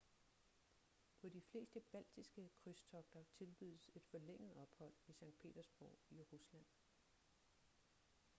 på de fleste baltiske krydstogter tilbydes et forlænget ophold i skt. petersborg i rusland